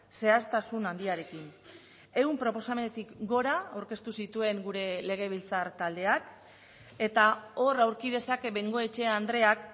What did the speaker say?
zehaztasun handiarekin ehun proposamenetik gora aurkeztu zituen gure legebiltzar taldeak eta hor aurki dezake bengoechea andreak